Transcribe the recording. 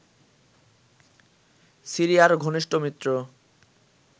সিরিয়ার ঘনিষ্ট মিত্র